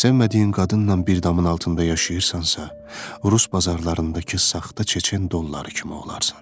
Sevmədiyin qadınnan bir damın altında yaşayırsansa, rus bazarlarındakı saxta çeçen dolları kimi olarsan.